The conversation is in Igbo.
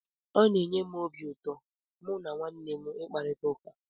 Ọ na-enye m obi ụtọ mụ na ụmụnne m ị kparita ụka.